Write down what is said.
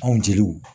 Anw jeliw